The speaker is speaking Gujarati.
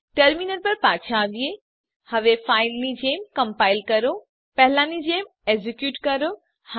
ટર્મીનલ પર પાછા આવીએ હવે પહેલાની જેમ કમ્પાઈલ કરો પહેલાની જેમ એક્ઝેક્યુટ કરો